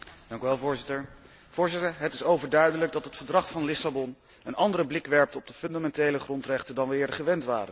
Voorzitter, het is overduidelijk dat het Verdrag van Lissabon een andere blik werpt op de fundamentele grondrechten dan wij eerder gewend waren.